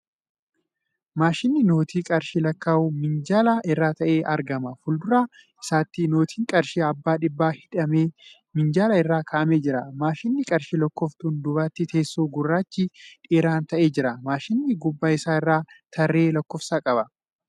Maashinni noottii qarshii lakkaa'uu minjaala irra taa'ee argama. Fuuldura isaatti noottiin qarshii abbaa dhibbaa hidhamee minjaala irra kaa'amee jira. Maashina qarshii lakkooftuun duubatti teessoon gurraachi dheeraan taa'ee jira. Maashinichi gubbaa isaa irraa tarree lakkoofsaa qaba.